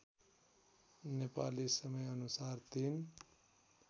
नेपाली समयअनुसार ३